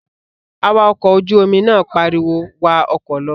Awakọ̀ ojú-omi náà pariwo, "wa ọkọ̀ lọ"